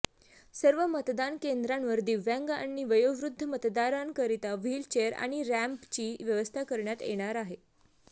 सर्व मतदान केंद्रांवर दिव्यांग आणि वयोवृद्ध मतदारांकरता व्हीलचेअर आणि रॅम्पची व्यवस्था करण्यात येणार आहे